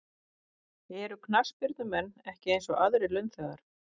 Eru knattspyrnumenn ekki eins og aðrir launþegar?